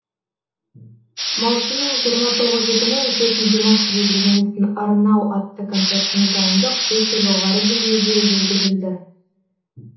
маусымның жиырма тоғызы күні өтетін димаш құдайбергеновтың арнау атты концертіне дайындық өте жоғары деңгейде жүргізілді